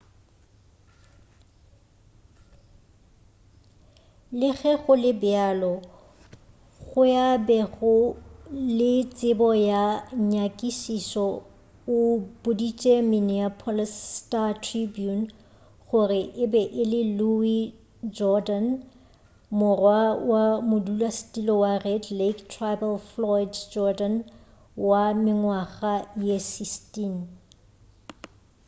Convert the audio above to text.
le ge go le bjalo yo a bego le tsebo ya nyakišišo o boditše minneapolis star-tribune gore e be e le louis jourdain morwa wa modulasetulo wa red lake tribal floyd jourdain wa mengwaga ye 16